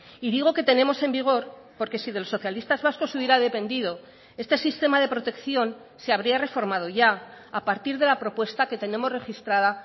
y digo que tenemos en vigor porque si de los socialistas vascos hubiera dependido este sistema de protección se habría reformado ya a partir de la propuesta que tenemos registrada